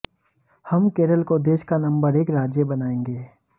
हम केरल को देश का नंबर एक राज्य बनाएंगे